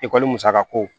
Ekɔli musakako